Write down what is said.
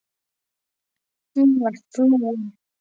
Hún var flúin.